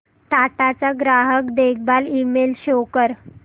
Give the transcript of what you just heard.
टाटा चा ग्राहक देखभाल ईमेल शो कर